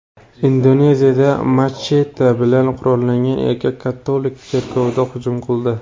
Indoneziyada machete bilan qurollangan erkak katolik cherkoviga hujum qildi.